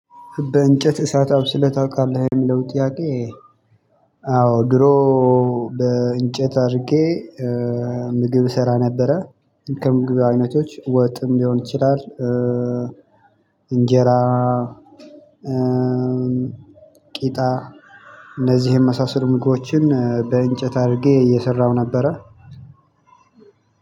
በእንጨት እሳት አብስለህ ታውቃለህ የሚለውን ጥያቄ? አዎ ድሮ በእንጨት አድርጌ ምግብ እሰራ ነበረ። ከምግብ አይነቶች ወጥም ሊሆን ይችላል። እንጀራ ቂጣ እነዚህን የመሳሰሉ ምግቦችን በእንጨት አድርጌ እየሰራሁ ነበረ።